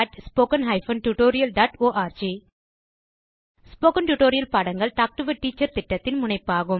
contactspoken tutorialorg spoken tutorial பாடங்கள் talk to a teacher திட்டத்தின் முனைப்பாகும்